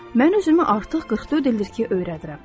Mən özümü artıq 44 ildir ki, öyrədirəm.